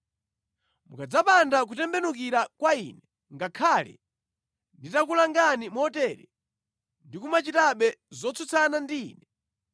“ ‘Mukadzapanda kutembenukira kwa Ine ngakhale nditakulangani motere, ndi kumachitabe zotsutsana ndi Ine,